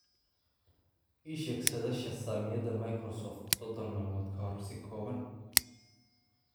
ii sheeg saadaasha saamiyada Microsoft soddon maalmood ka hor si kooban